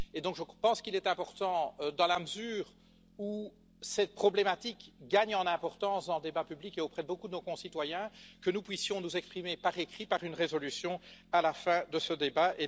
Je pense qu'il est important, dans la mesure où cette problématique gagne en importance dans le débat public et auprès de beaucoup de nos concitoyens, que nous puissions nous exprimer par écrit, par une résolution, à la fin de ce débat.